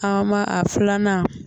An b'a a filanan